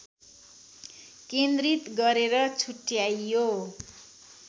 केन्द्रित गरेर छुट्ट्याइयो